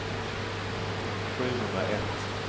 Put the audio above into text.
sjuhundraett